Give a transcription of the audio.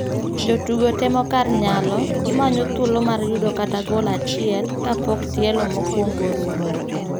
Jotugo temo kar nyalo ,gimanyo thuolo mar yudo kata gol achiel kapok tielo mokuong'o orumo.